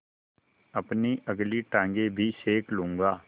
अपनी अगली टाँगें भी सेक लूँगा